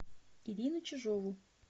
ирину чижову